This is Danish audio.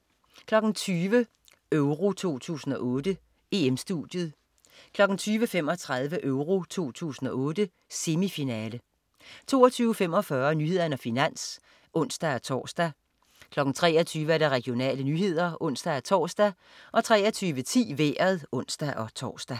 20.00 EURO 2008: EM-Studiet 20.35 EURO 2008: Semifinale 22.45 Nyhederne og Finans (ons-tors) 23.00 Regionale nyheder (ons-tors) 23.10 Vejret (ons-tors)